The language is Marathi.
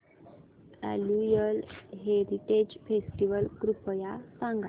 अॅन्युअल हेरिटेज फेस्टिवल कृपया सांगा